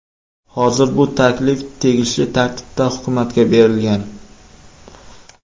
Hozir bu taklif tegishli tartibda hukumatga berilgan.